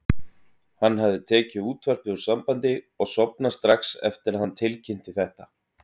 Hann hafði tekið útvarpið úr sambandi og sofnað strax eftir að hann tilkynnti þetta.